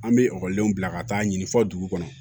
An bɛ ekɔlidenw bila ka taa ɲini fɔ dugu kɔnɔ